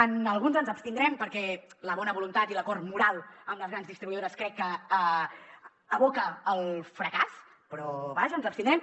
en alguns ens abstindrem perquè la bona voluntat i l’acord moral amb les grans distribuïdores crec que aboquen al fracàs però vaja ens abstindrem